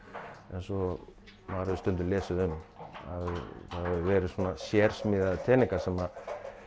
eins og maður hefur stundum lesið um það hafa verið svona sérsmíðaðir teningar sem